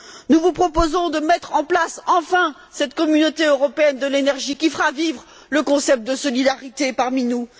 nous vous proposons de mettre en place, enfin, cette Communauté européenne de l'énergie qui fera vivre le concept de solidarité parmi nous.